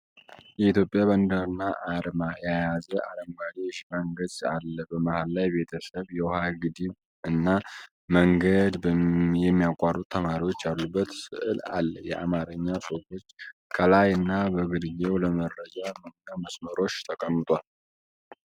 የኢትዮጵያ ባንዲራና አርማ የያዘ አረንጓዴ የሽፋን ገጽ አለ። በመሃል ላይ ቤተሰብ፣ የውሃ ግድብ እና መንገድ የሚያቋርጡ ተማሪዎች ያሉበት ሥዕል አለ። የአማርኛ ጽሑፎች ከላይ እና በግርጌው ለመረጃ መሙያ መስመሮች ተቀምጠዋል።